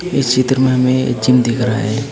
इस चित्र में जिम दिख रहा है एक।